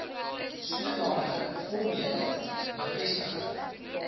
sodanige formele bevestiging